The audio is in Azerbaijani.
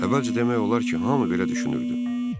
Əvvəlcə demək olar ki, hamı belə düşünürdü.